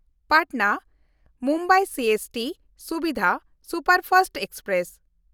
Patna-Mumbai CST Suvidha superfast express